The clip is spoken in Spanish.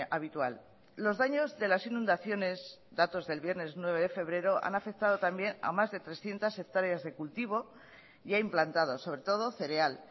habitual los daños de las inundaciones datos del viernes nueve de febrero han afectado también a más de trescientos hectáreas de cultivo y ha implantado sobre todo cereal